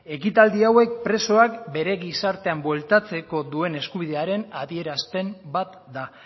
ekitaldi hauek presoak bere gizartean bueltatzeko duen eskubidearen adierazpen bat da